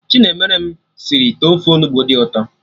Chinemerem sịrị ite ofe Onugbu dị ụtọ